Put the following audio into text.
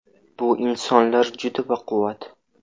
– Bu insonlar juda baquvvat.